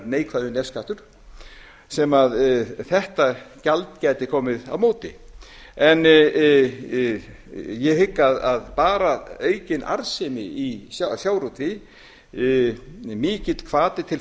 neikvæður nefskattur sem þetta gjald gæti komið á móti en ég hygg að bara aukin arðsemi í sjávarútvegi mikill hvati til